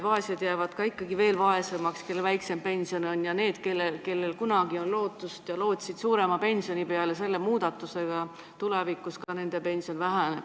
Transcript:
Vaesed jäävad ikkagi veel vaesemaks, nendel on väiksem pension, ja inimestel, kellel kunagi on olnud lootust suuremale pensionile, selle muudatusega tulevikus pension väheneb.